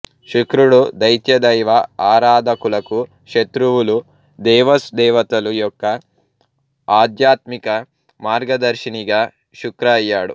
శుక్రుడు దైత్య దైవ ఆరాధకులకు శత్రువులు దేవస్ దేవతలు యొక్క ఆధ్యాత్మిక మార్గదర్శినిగా శుక్ర అయ్యాడు